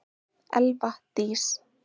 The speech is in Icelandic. Elva Dís.